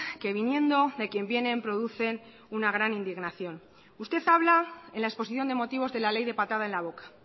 que viniendo de quien vienen producen una gran indignación usted habla en la exposición de motivos de la ley de patada en la boca